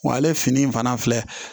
Wa ale fini in fana filɛ